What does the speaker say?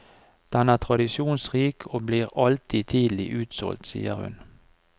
Den er tradisjonsrik og blir alltid tidlig utsolgt, sier hun.